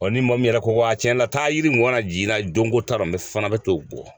Ɔ ni mɔgɔ min yɛrɛ ko wa cɛn na taa yiri mun a na jiginna donko ta la fana bɛ to bɔ